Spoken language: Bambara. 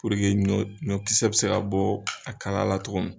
Puruke ɲɔ ɲɔkisɛ bɛ se ka bɔ a kala la cogo min.